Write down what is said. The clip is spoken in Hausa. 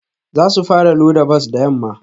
Za su fara loda bas da yamma